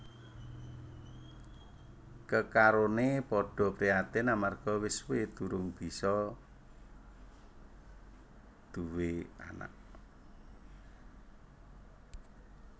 Kekaroné padha prihatin amarga wis suwé durung bisa nduwé anak